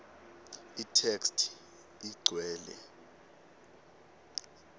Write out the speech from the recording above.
itheksthi igcwele